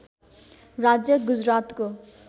राज्य गुजरातको